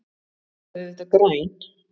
Þau voru auðvitað græn.